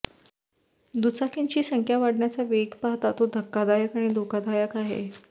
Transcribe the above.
दुचाकींची संख्या वाढण्याचा वेग पाहता तो धक्कादायक आणि धोकादायक आहे